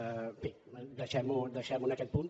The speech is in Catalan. en fi deixem·ho en aquest punt